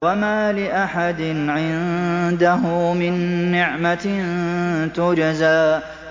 وَمَا لِأَحَدٍ عِندَهُ مِن نِّعْمَةٍ تُجْزَىٰ